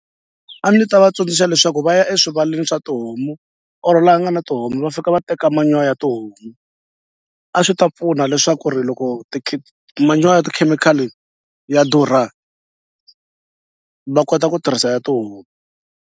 A ni ta va tsundzuxa leswaku va ya eswivaleni swa tihomu or la nga na tihomu va fika va teka ya tihomu a swi ta pfuna leswaku ri loko manyoro ya tikhemikhali ya durha va kota ku tirhisa ya tihomu.